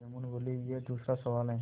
जुम्मन बोलेयह दूसरा सवाल है